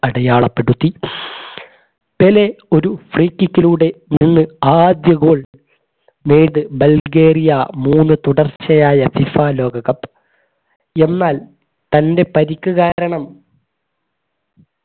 അടയാളപ്പെടുത്തി പെലെ ഒരു free kick ലൂടെ നിന്ന് ആദ്യ goal മൂന്നു തുടർച്ചയായ FIFA ലോക cup എന്നാൽ തന്റെ പരിക്ക് കാരണം